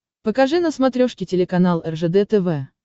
покажи на смотрешке телеканал ржд тв